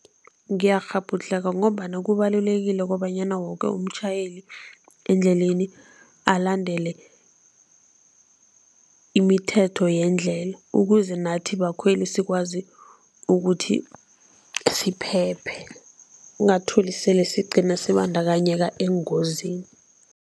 Ngiyakghabhudlheka ngombana kubalulekile ukobanyana woke umtjhayeli endleleni alandele imithetho yendlela, ukuze nathi bakhweli sikwazi ukuthi siphephe, ungatholi sele sigcina sibandakanyeka engozini.